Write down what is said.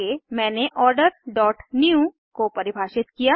आगे मैंने order dot new को परिभाषित किया